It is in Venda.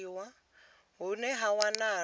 hune ha wanala uri hu